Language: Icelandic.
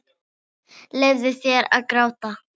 Leyfðu þér að gráta.